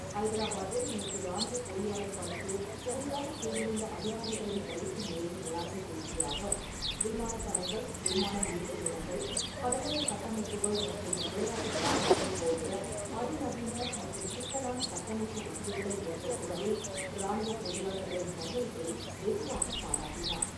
ஐதராபாத்தில் நேற்று ராணுவப் பொறியாளர் பணிக்கு புதிதாக சேர்ந்துள்ள அதிகாரிகளின் பயிற்சி நிறைவு விழாவில் பேசிய அவர், விமானத் தளங்கள், விமானம் நிறுத்துமிடங்கள், கடலோரக் கட்டமைப்புகள், மற்றும் விளையாட்டு வளாகங்கள் போன்ற அதிநவீன மற்றும் சிக்கலான கட்டமைப்பு வசதிகளை ஏற்படுத்துவதில் ராணுவப் பொறியாளர்களின் பங்களிப்பை வெகுவாக பாராட்டினார்.